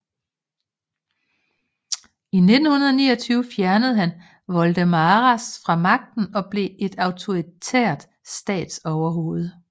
I 1929 fjernede han Voldemaras fra magten og blev et autoritært statsoverhoved